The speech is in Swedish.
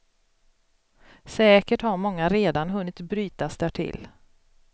Säkert har många redan hunnit brytas därtill.